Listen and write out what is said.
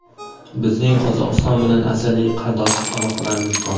Bizning [Qozog‘iston bilan] azaliy qardoshlik aloqalarimiz bor.